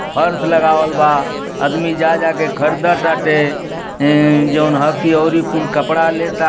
फर्स लगावल बा। आदमी जा जाके खरदा ताटे। ए जौन ह की अउरी कुल कपड़ा लेता।